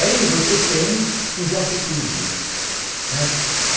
Aí você tem o Jockey Club, né